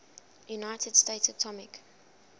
united states atomic